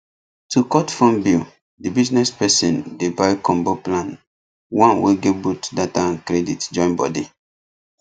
to cut phone bill the business person dey buy combo plan one wey get both data and credit join body